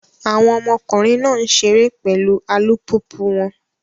Awọn ọmọkunrin náà n ṣere pẹlu alupupu wọn